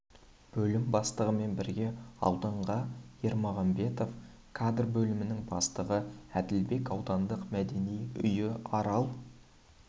бөлім бастығымен бірге ауданға ермағанбетов кадр бөлімінің бастығы әділбеков аудандық мәдениет үйі арал